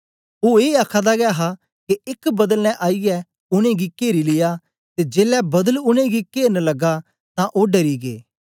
ओ ए आखादा गै हा के एक बदल ने आईयै उनेंगी केरी लिया ते जेलै बदल उनेंगी केरन लगा तां ओ डरी गै